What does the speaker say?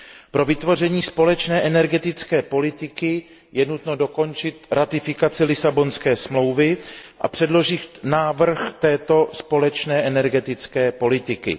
Pro vytvoření společné energetické politiky je nutno dokončit ratifikaci Lisabonské smlouvy a předložit návrh této společné energetické politiky.